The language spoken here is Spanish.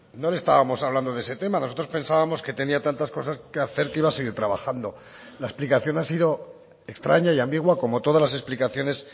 no le estábamos hablando de ese tema nosotros pensábamos que tenía tantas cosas que hacer que iba a seguir trabajando la explicación ha sido extraña y ambigua como todas las explicaciones